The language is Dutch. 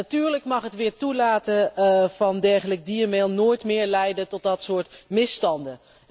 Natuurlijk mag het weer toelaten van dergelijk diermeel nooit meer leiden tot dat soort misstanden.